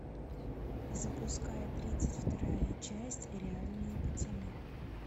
запускай тридцать вторая часть реальные пацаны